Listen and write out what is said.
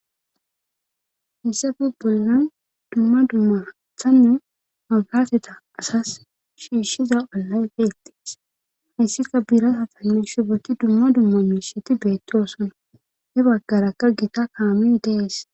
Hissafi bollan dumma dummathanne makateta asas shiishshiza alay beettees hayssika biirata tammi shu baki dumma dumma nusheti beettoosana he baggarakka gita kaamin dees.